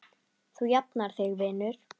Þú jafnar þig vinur.